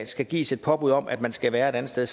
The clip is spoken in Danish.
skal gives et påbud om at man skal være et andet sted